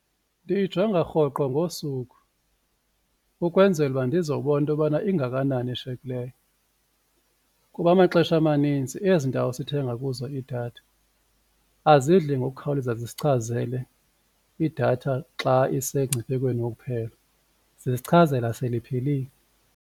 Ndiyijonga rhoqo ngosuku ukwenzela uba ndizobona into yobana ingakanani eshiyekileyo kuba amaxesha amanintsi ezi ndawo sithenga kuzo idatha azidli ngokukhawuleza zisichazele idatha xa isengciphekweni wokuphela zisichazela sele iphelile.